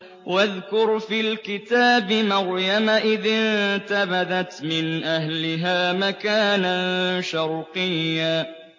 وَاذْكُرْ فِي الْكِتَابِ مَرْيَمَ إِذِ انتَبَذَتْ مِنْ أَهْلِهَا مَكَانًا شَرْقِيًّا